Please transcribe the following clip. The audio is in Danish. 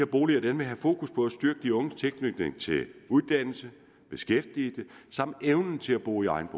boliger vil have fokus på at styrke de unges tilknytning til uddannelse beskæftigelse samt evne til at bo i egen